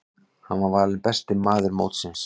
Hann var valinn besti maður mótsins.